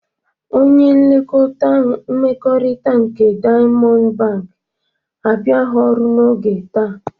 Onye nlekọkta mmekọrịta nke Diamọndụ Bankị abịaghị ọrụ n'oge taa.